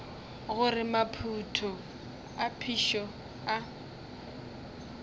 gore maphoto a phišo a